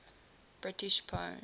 british poems